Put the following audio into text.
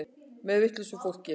Með vitlausu fólki.